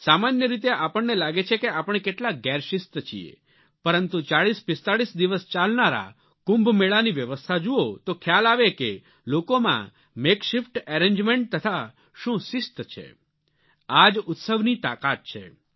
સામાન્ય રીતે આપણને લાગે છે કે આપણે કેટલા ગેરશિસ્ત છીએ પરંતુ 4045 દિવસ ચાલનારા કુંભમેળાની વ્યવસ્થા જુઓ તો ખ્યાલ આવે કે લોકોમાંMake શિફ્ટ એરેન્જમેન્ટ તથા શું શિસ્ત છે આ જ ઉત્સવની તાકાત છે